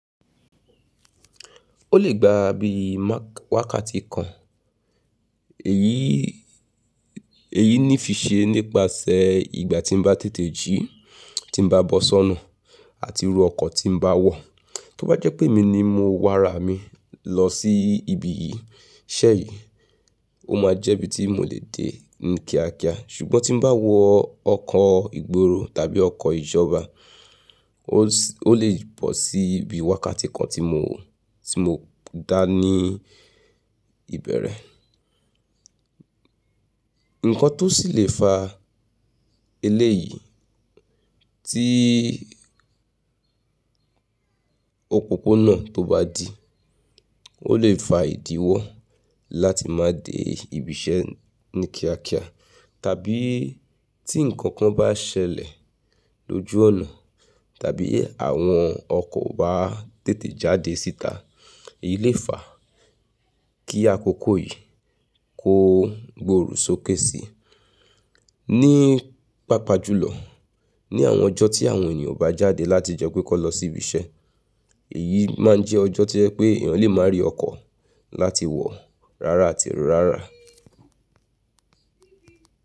Ó lè gba bí i wákàtí kan, èyí ni fi ṣe nípasẹ̀ ìgbà tí n bá tètè jí, tí n bá bọ́ sọ́nà àti irú ọkọ tí n bá wọ. Tó bá jẹ́ pé mi ni mo wa ara mi lọ sí ibi yìí, iṣẹ́ yìí ó máa jẹ́ ibi tí mo lè dé ni kíákíá ṣùgbọ́n tí n bá wọ ọkọ ìgbóro tàbí ọkọ ìjọba, ó lè bọ́ sí ibi wákàtí kan tí mo dání ìbẹ̀rẹ̀. Nǹkan tó sì lè fá eléyìí tí òpópónà tó bá dí, ó lè fa ìdíwọ́ láti má dé ibi iṣẹ́ ni kíákíá. Tàbí tí nǹkan kan bá ṣẹlẹ̀ lójú ọ̀nà tàbí àwọn ọkọ̀ bá tètè jáde síta, èyí lè fá kí àkókò yìí kó gbòòrò sókè si. Ní pàpá jùlọ, ní àwọn ọjọ́ tí àwọn ènìyàn bá jáde láti jẹ́ pé kọ́ lọ sí ibi iṣẹ́, èyí máa ń jẹ́ ọjọ́ tojẹ́ pé èèyàn lè má rí ọkọ láti wọ̀ rárá àti rárá.